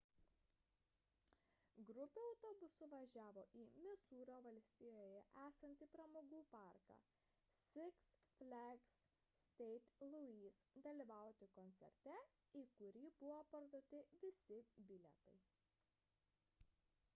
grupė autobusu važiavo į misūrio valstijoje esantį pramogų parką six flags st. louis dalyvauti koncerte į kurį buvo parduoti visi bilietai